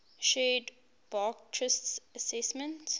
shared burckhardt's assessment